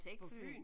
På Fyn?